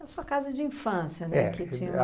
A sua casa de infância, né? É